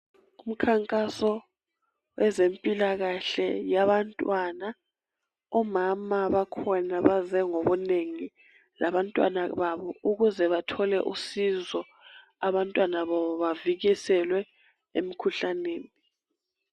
Umkhankaso wezempilakahle yabantwana. Omama bakhona baze ngobunengi labantwana babo ukuze bathole usizo abantwana babo bavikiselwe emikhuhlaneni.